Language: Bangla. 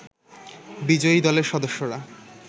বিজয়ী দলের সদস্যরা